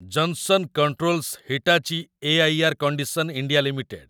Johnson Controls Hitachi air. Condition. India limited